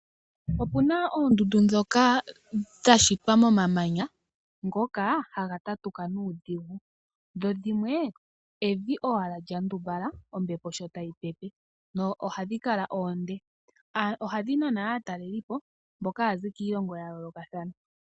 Opuna oondundu ndhoka dha shitwa moma manya ngoka haga tatuka nuudhigu dho dhimwe evi owala lya ndumbala ombepo sho tayi pepe nohadhi kala oonde, ohadhi nana aatlelipo mboka haya zi kiilongo ya yoolokathana.